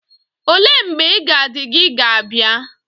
Ole mgbe iga di gi ga abia?